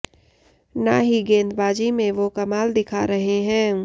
ना ही गेंदबाजी में वो कमाल दिखा रहे हैं